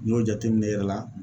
N'i y'o jateminɛ i yɛrɛ la